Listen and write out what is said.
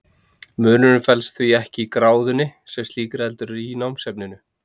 Munurinn felst því ekki í gráðunni sem slíkri heldur í námsefninu.